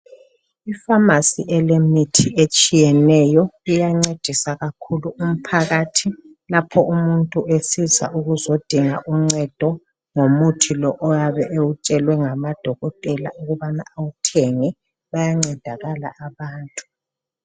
Ifamasi elemithi etshiyeneyo iyancedisa kakhulu umphakathi lapho umuntu esiza ukuzodinga uncedo ngomuthi lo oyabe ewutshelwe ngamadokotela ukubana bawuthenge bayancedakala abantu.